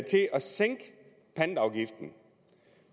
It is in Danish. sænke pantafgiften